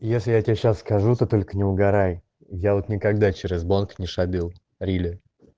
если я тебе сейчас скажу то только не угарай я вот никогда через банк не шабил рили